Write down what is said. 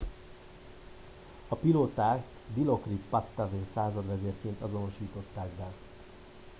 a pilótát dilokrit pattavee századvezérként azonosították be